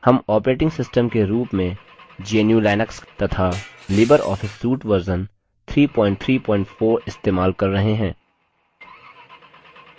हम operating system के रूप में gnu/linux तथा लिबर ऑफिस suite वर्ज़न 334 इस्तेमाल कर रहे हैं